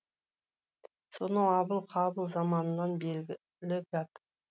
сонау абыл қабыл заманынан белгілі гәп